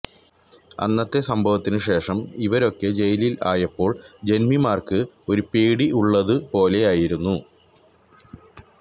അന്നത്തെ സംഭവത്തിന് ശേഷം ഇവരൊക്കെ ജയിലില് ആയപ്പോള് ജന്മിമാര്ക്ക് ഒരു പേടി ഉള്ളത് പോലെയായിരുന്നു